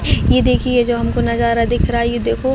ये देखिये जो हमको नज़ारा दिख रहा है ये देखो--